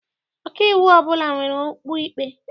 Ọkaiwu ọbụla nwere okpu ikpe.